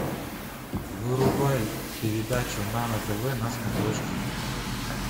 врубай передачу нано тв на смотрешке